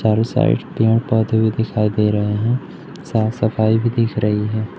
चारों साइड पेड़ पौधे भी दिखाई दे रहे हैं साफ सफाई भी दिख रही है।